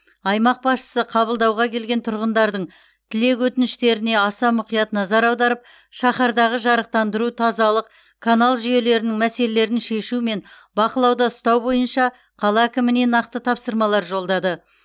аймақ басшысы қабылдауға келген тұрғындардың тілек өтініштеріне аса мұқият назар аударып шаһардағы жарықтандыру тазалық канал жүйелерінің мәселелерін шешу мен бақылауда ұстау бойынша қала әкіміне нақты тапсырмалар жолдады